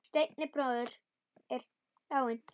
Steini bróðir er dáinn.